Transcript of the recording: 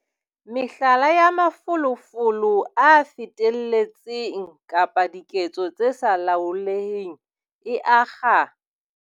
Mehlala ya mafolofolo a feteletseng kapa diketso tse sa laoleheng e akga.